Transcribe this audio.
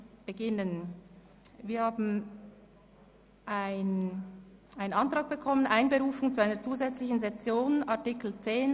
Aufgrund von Artikel 10 Absatz 2 des Gesetzes über den Grossen Rat (Grossratsgesetz, GRG) wird eine zusätzlichen Session im Januar einberufen.